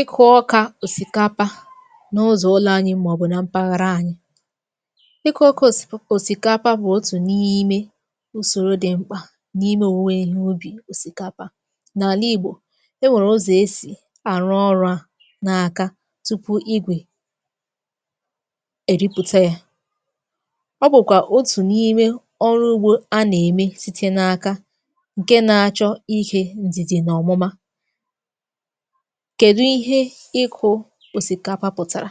Ịkụ ọkà òsìkapa n’ụzọ̀ ụlọ̀ anyị m̀aọ̀bụ̀ nà mpaghara anyị. Ikụ ọkà osip òsìkapa wụ otù n’ime ùsòrò dị m̀kpà n’ime òwùwe ihe ubì òsìkapa. N’àla ìgbò e nwèrè ụzọ̀ esì àrụ ọrụ̇ à n’aka tupu igwè èrịpụ̀ta yȧ. Ọ bụ̀kwà otù n’ime ọrụ ugbȯ a nà-ème site n’aka, ǹke nȧ-achọ ihe ǹdìdì nà ọ̀mụma. Kedụ ihe ịkụ osikapa pụtara?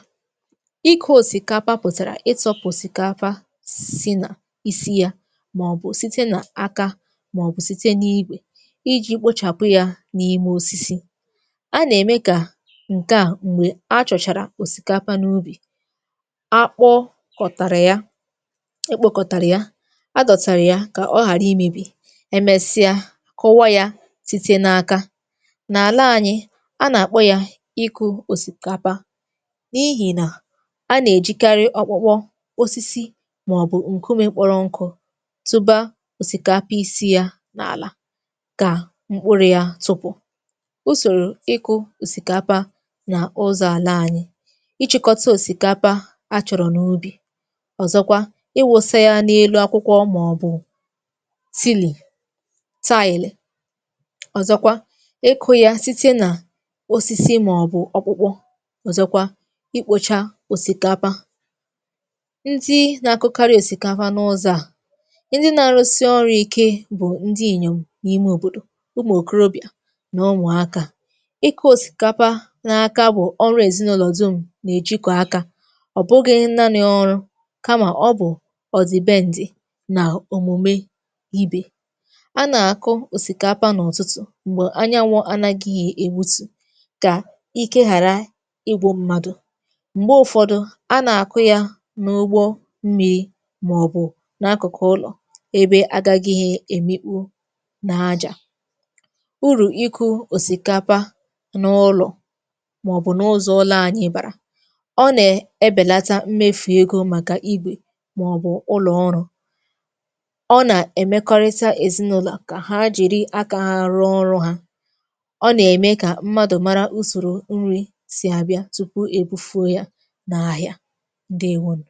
Ikụ̇ òsìkapa pụ̀tàrà ịtọpụ òsìkapa si nà isi yȧ, màọbụ̀ site nà aka, màọbụ̀ site n’igwè, iji̇ kpochàpụ yȧ n’ime osisi. A nà-ème kà ǹke à m̀gbè achọ̀chàrà òsìkapa n’ubì, akpọkọ̀tàrà ya, ekpokọ̀tàrà ya, adọ̀tàrà ya kà ọ ghàra imėbì, emesịa kụọ ya site n’aka. Na àlà anyi, a na akpọ ya ịkụ osikapa, n’ihì nà a nà-èjikarị ọkpọkpọ, osisi, màọbụ̀ ǹkùmè kpọrọ nkụ tụba òsìkapa isi yà n’àlà kà mkpụrụ yà tupù. Usòrò ịkụ̇ òsìkapa nà ụzọ̀ àla anyị: ichị̇kọta òsìkapa achọ̀rọ̀ n’ubì, ọ̀zọkwa ịwụ̇sȧ ya n’elu akwụkwọ màọbụ̀ tili,, ọ̀zọkwa ịkụ ya site na osisi maọbu okpụkpọ, ọ̀zọkwa ikpocha òsìkapa. Ndị na-akụkarị òsìkapa n’ụzọ̇ a, ndị na-arụsi ọrụ ike bụ̀ ndị inyòm n’ime òbòdò, ụmụ okorobịa, na ụmụaka. Ịkụ osikapa na aka bu ọrụ èzinụlọ̀ dum nà-èjikọ̀ akȧ, ọ̀ bụgịghị nnani ọrụ kamà ọ bụ̀ ọ̀dị̀ be ǹdì nà òmùme ibė. A nà-àkụ òsìkapa n’ụtụtụ̀ m̀gbè anyanwụ̇ ànagịghị̇ èwutù, ka ike ghara igwụ mmadụ, m̀gbe ụ̀fọdụ a nà-àkụ ya n’ụgbọ mmị̇ màọbụ̀ n’akụ̀kụ̀ ụlọ̀, ebe agȧgịghị èmikpu n’ajà. Urù iku̇ òsìkapa n’ụlọ̀ màọbụ̀ n’ụzọ̀ ụlọ̇ anyị bàrà: ọ nà-ebèlata mmefù egȯ màkà igwè màọbụ̀ ụlọ̀ ọrụ̇, ọ nà-èmekọrịta èzinụlọ̀ kà ha jìri aka ha rụọ ọrụ̇ ha, ọ na eme ka mmadụ mara usoro nri si abia tupu è bụfuo yȧ nà áhiá, ǹdewonù.